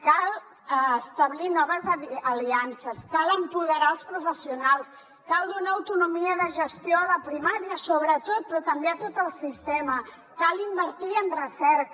cal establir noves aliances cal empoderar els professionals cal donar autonomia de gestió a la primària sobretot però també a tot el sistema cal invertir en recerca